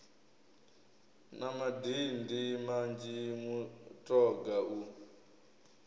na madindi manzhi mutoga u